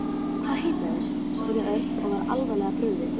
Hvað heita þeir? spurði Örn og var alvarlega brugðið.